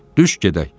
Düş gedək.